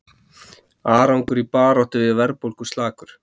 Árangur í baráttu við verðbólgu slakur